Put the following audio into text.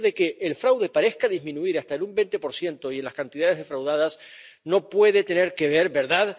Y el hecho de que el fraude parezca disminuir hasta en un 20 y en las cantidades defraudadas no puede tener que ver —¿verdad?—